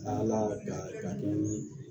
Ala y'a garijigɛ ni